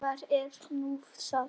Og hvað er nú það?